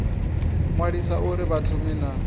ṅwaliswa uri vha thome na